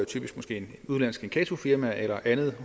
et udenlandsk inkassofirma eller andet